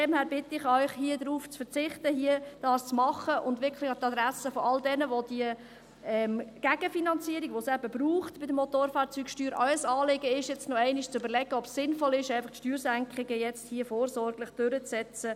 Daher bitte ich Sie darum, darauf zu verzichten, dies zu tun, und – wirklich an die Adresse all derjenigen, denen die Gegenfinanzierung, die es bei der Motorfahrzeugsteuer eben braucht, auch ein Anliegen ist – sich noch einmal zu überlegen, ob es sinnvoll ist, Steuersenkungen jetzt hier einfach vorsorglich durchzusetzen.